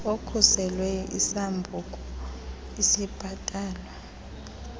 okhuselweyo isambuku esibhatalwayo